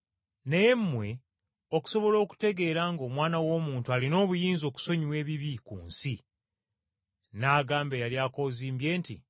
Naye mmwe okusobola okutegeera ng’Omwana w’Omuntu alina obuyinza okusonyiwa ebibi ku nsi;” n’agamba eyali akoozimbye nti,